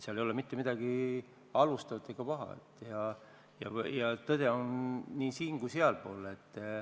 Selles ei ole mitte midagi halvustatavat ega paha ja tõde on nii siin- kui ka sealpool.